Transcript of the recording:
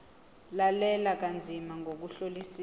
lalela kanzima ngokuhlolisisa